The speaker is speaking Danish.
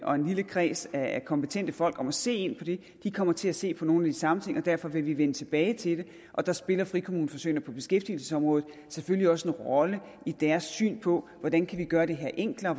og en lille kreds af kompetente folk om at se på det de kommer til at se på nogle samme ting og derfor vil vi vende tilbage til det og der spiller frikommuneforsøgene på beskæftigelsesområdet selvfølgelig også en rolle i deres syn på hvordan vi kan gøre det her enklere og